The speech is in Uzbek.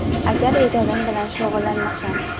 Agar ijodim bilan shug‘ullanmasam.